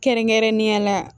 Kɛrɛnkɛrɛnnenya la